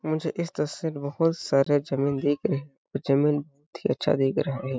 मुझे इस तस्वीर बहुत सारे जमीन दिख रही जमीन बहुत ही अच्छा दिख रहा है।